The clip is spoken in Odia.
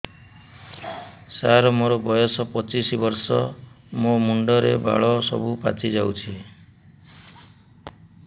ସାର ମୋର ବୟସ ପଚିଶି ବର୍ଷ ମୋ ମୁଣ୍ଡରେ ବାଳ ସବୁ ପାଚି ଯାଉଛି